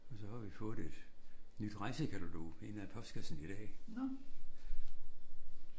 Og så har vi fået et nyt rejsekatalog ind af postkassen i dag